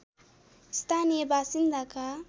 स्थानीय बासिन्दाका